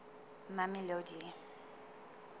mamelodi